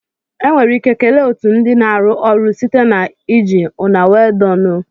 Enwere ike kelee otu ndị na-arụ ọrụ site na iji " una well done o".